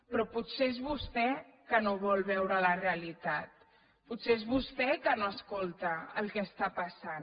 però potser és vostè que no vol veure la realitat potser és vostè que no escolta el que està passant